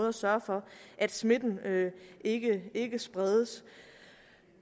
at sørge for at smitten ikke ikke spredes